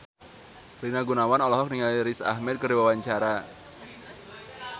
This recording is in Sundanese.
Rina Gunawan olohok ningali Riz Ahmed keur diwawancara